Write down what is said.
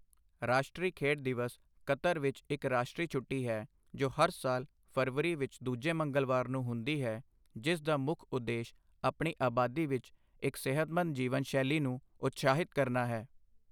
ਰਾਸ਼ਟਰੀ ਖੇਡ ਦਿਵਸ ਕਤਰ ਵਿੱਚ ਇੱਕ ਰਾਸ਼ਟਰੀ ਛੁੱਟੀ ਹੈ, ਜੋ ਹਰ ਸਾਲ ਫ਼ਰਵਰੀ ਵਿੱਚ ਦੂਜੇ ਮੰਗਲਵਾਰ ਨੂੰ ਹੁੰਦੀ ਹੈ, ਜਿਸ ਦਾ ਮੁੱਖ ਉਦੇਸ਼ ਆਪਣੀ ਆਬਾਦੀ ਵਿੱਚ ਇੱਕ ਸਿਹਤਮੰਦ ਜੀਵਨ ਸ਼ੈਲੀ ਨੂੰ ਉਤਸ਼ਾਹਿਤ ਕਰਨਾ ਹੈ।